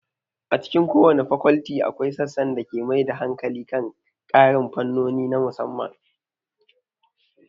A cikin kowace fakolti, akwai sassan da ke mai da hankali kan ƙarin fannoni na musamman.